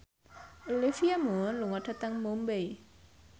Olivia Munn lunga dhateng Mumbai